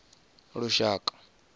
lushaka